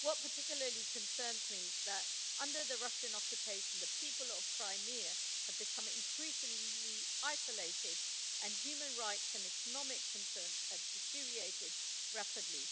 What particularly concerns me is that, under the Russian occupation, the people of Crimea have become increasingly isolated and human rights and economic concerns have deteriorated rapidly.